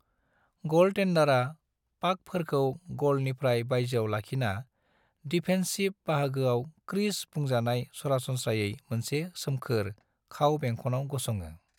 गलटेन्डारा पाकफोरखौ गलनिफ्राय बायजोआव लाखिना, डिफेन्सिफ बाहागोआव क्रीज बुंजानाय सरासनस्रायै मोनसे सोमखोर, खाव-बेंखनाव गसङो।